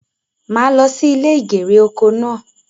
Màá lo sí ilè ìgèrè oko náà